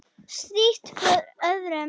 Strítt hvor öðrum.